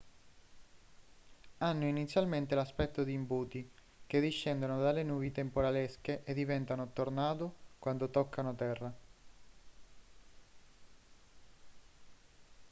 hanno inizialmente l'aspetto di imbuti che discendono dalle nubi temporalesche e diventano tornado quanto toccano terra